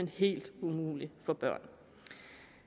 helt umulig for børn